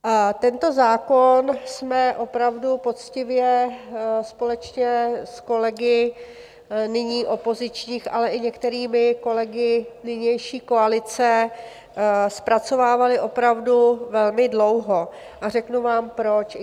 Tento zákon jsme opravdu poctivě společně s kolegy nyní opozičních, ale i některými kolegy nynější koalice zpracovávali opravdu velmi dlouho, a řeknu vám proč.